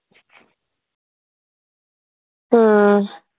हो.